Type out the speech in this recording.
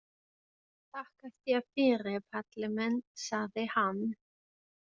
Þakka þér fyrir Palli minn, sagði hann.